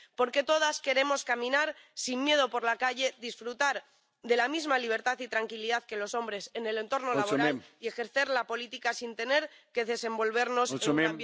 Porque todas queremos caminar sin miedo por la calle, disfrutar de la misma libertad y tranquilidad que los hombres en el entorno laboral y ejercer la política sin tener que desenvolvernos en un ambiente hostil y machista.